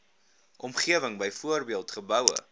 omgewing byvoorbeeld geboue